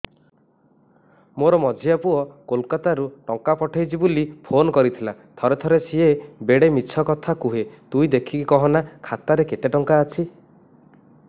ମୋର ମଝିଆ ପୁଅ କୋଲକତା ରୁ ଟଙ୍କା ପଠେଇଚି ବୁଲି ଫୁନ କରିଥିଲା ଥରେ ଥରେ ସିଏ ବେଡେ ମିଛ କଥା କୁହେ ତୁଇ ଦେଖିକି କହନା ଖାତାରେ କେତ ଟଙ୍କା ଅଛି